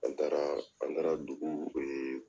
An taara, an taara dugu